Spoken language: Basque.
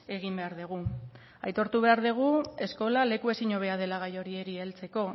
egin behar dugu aitortu behar dugu eskola leku ezinhobea dela gai horiei heltzeko